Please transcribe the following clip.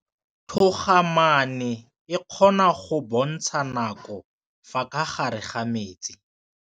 Toga-maanô e, e kgona go bontsha nakô ka fa gare ga metsi.